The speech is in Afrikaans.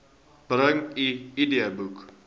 bring u idboek